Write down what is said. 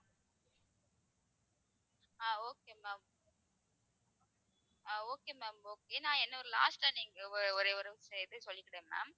ஆஹ் okay ma'am ah okay ma'am ஏன்னா last ஆ நீங்க ஒரே ஒரு இது சொல்லிக்கிறேன் ma'am